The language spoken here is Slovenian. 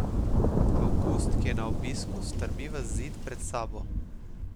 Avgust, ki je na obisku, strmi v zid pred sabo.